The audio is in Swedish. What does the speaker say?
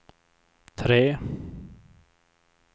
tre